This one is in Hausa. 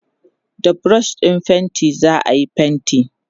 da brush ɗin fainti zaayi fainti